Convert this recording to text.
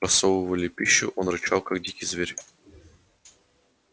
просовывали пищу он рычал как дикий зверь